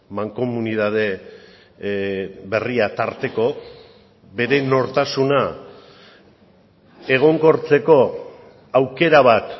mankomunitate berria tarteko bere nortasuna egonkortzeko aukera bat